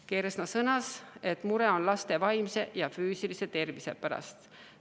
Kersna sõnas, et mure on laste vaimse ja füüsilise tervise pärast.